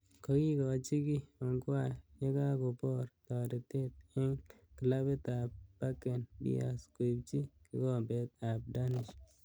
Kakikaji kii Ongwae yekakobor taretet eng clabit ab Bakken Bears koipchi gigombet ab Danish.